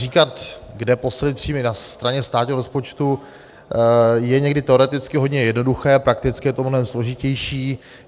Říkat, kde posílit příjmy na straně státního rozpočtu, je někdy teoreticky hodně jednoduché, prakticky je to mnohem složitější.